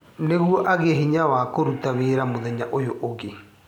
Nĩguo agĩe hinya wa kũruta wĩra mũthenya ũyũ ũngĩ